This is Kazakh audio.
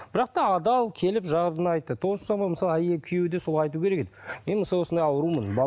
бірақ та адал келіп жағдайын айтты мысалы күйеуі де солай айту керек еді мен осындай осындай аурумын